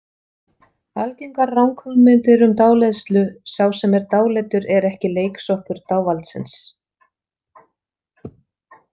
Algengar ranghugmyndir um dáleiðslu Sá sem er dáleiddur er ekki leiksoppur dávaldsins.